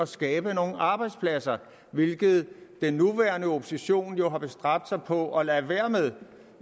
skabe nogle arbejdspladser hvilket den nuværende opposition jo har bestræbt sig på at lade være med